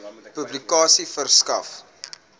publikasie verskaf